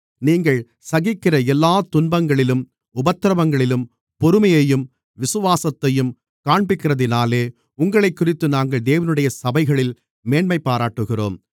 நீங்கள் சகிக்கிற எல்லாத் துன்பங்களிலும் உபத்திரவங்களிலும் பொறுமையையும் விசுவாசத்தையும் காண்பிக்கிறதினாலே உங்களைக்குறித்து நாங்கள் தேவனுடைய சபைகளில் மேன்மைபாராட்டுகிறோம்